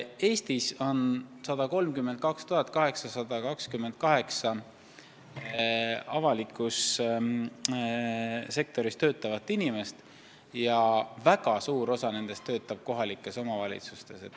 Eestis on 132 828 avalikus sektoris töötavat inimest ja väga suur osa nendest töötab kohalikes omavalitsustes.